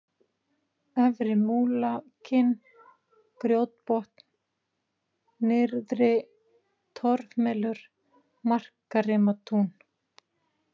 Efri-Múlakinn, Grjótbotn, Nyrðri-Torfmelur, Markarimatún